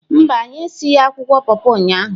Mba, anyị esighị akwụkwọ pọpọ ụnyahụ